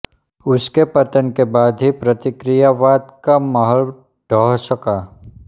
उसके पतन के बाद ही प्रतिक्रियावाद का महल ढह सका